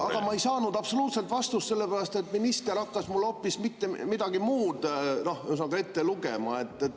Aga ma ei saanud absoluutselt vastust, sellepärast et minister hakkas mulle hoopis midagi muud ette lugema.